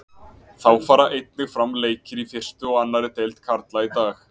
Þá fara einnig fram leikir í fyrstu og annarri deild karla í dag.